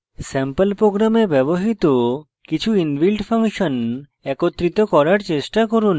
sample programs ব্যবহৃত কিছু inbuilt function একত্রিত করার চেষ্টা করুন